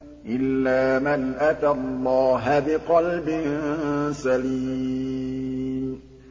إِلَّا مَنْ أَتَى اللَّهَ بِقَلْبٍ سَلِيمٍ